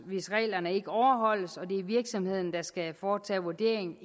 hvis reglerne ikke overholdes og det er virksomheden der skal foretage vurderingen